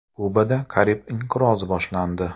Kubada Karib inqirozi boshlandi.